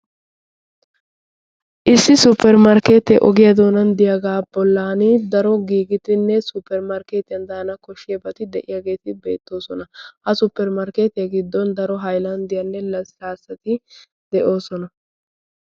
issi supermarkketee ogiyaa doonaan diyaaga bollaan daro giigidinne supermarkketiyaan dana kooshiyaagetti de"oosona. ha supermarkketiyaan halylanddetinne laslaasatti de"oosona.